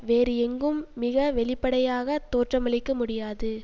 வேறு எங்கும் மிகவெளிப்படையாகத் தோற்றமளிக்கமுடியாது